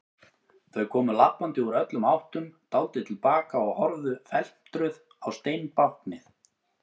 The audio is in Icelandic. Þau komu labbandi úr öllum áttum, dáldið til baka og horfðu felmtruð á steinbáknið.